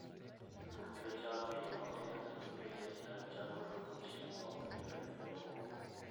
Jopur pidho cham e yo maber mondo gibed gadier ni chamgo yudo chiemo mowinjore e lowo.